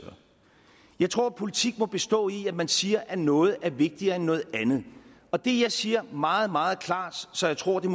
jeg tror politik må bestå i at man siger at noget er vigtigere end noget andet og det jeg siger meget meget klart så jeg tror det